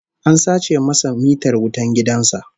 An sace masa mitar wutan gidan sa